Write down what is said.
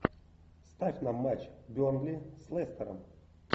ставь нам матч бернли с лестером